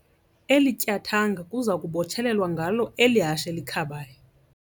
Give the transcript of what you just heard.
Eli tyathanga kuza kubotshelelwa ngalo eli hashe likhabayo.